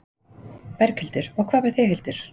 Berghildur: Og hvað með þig, Hildur?